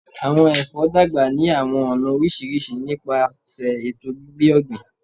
Awọn èfó dàgbà ni àwọn ọna orísirísi nípasẹ ètò gbígbé ògbìn